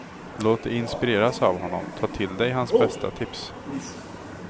Låt dig inspireras av honom, ta till dig hans bästa tips.